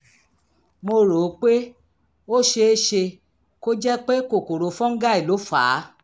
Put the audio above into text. mo rò ó pé ó ṣe é ṣe kó jẹ́ pé kòkòrò fọ́nńgáì ló fà á